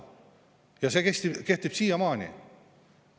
Ja see kehtib siiamaani.